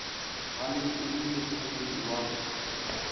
gale e le mohlokomedi wa